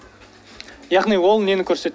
яғни ол нені көрсетеді